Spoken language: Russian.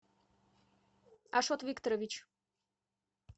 ашот викторович